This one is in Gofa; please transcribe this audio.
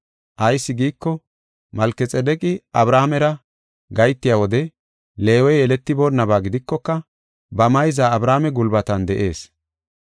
Ayis giiko, Malkexaadeqi Abrahaamera gahetiya wode Leewey yeletiboonnaba gidikoka, ba mayza Abrahaame gulbatan de7ees.